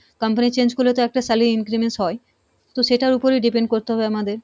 company change করলে তো একটা salary হয় তো সেটার উপরেই depend করতে হবে আমাদের।